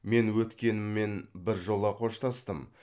мен өткеніммен біржола қоштастым